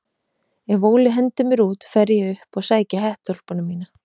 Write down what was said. Ef Óli hendir mér út fer ég upp og sæki hettuúlpuna mína.